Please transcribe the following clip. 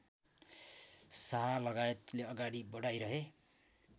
शाहलगायतले अगाडि बढाइरहे